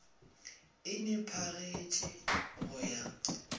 e ne pagetše go ya